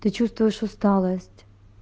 ты чувствуешь усталость